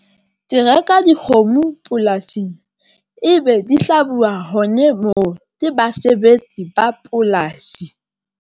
Ke reka dikgomo polasing ebe di hlabuwa hone moo le basebetsi ba polasi.